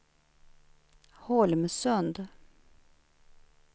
Holmsund